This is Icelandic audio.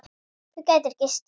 Þú gætir gist hér.